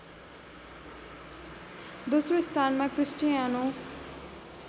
दोस्रो स्थानमा क्रिस्टीआनो